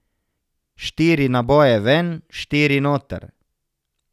Štiri naboje ven, štiri noter.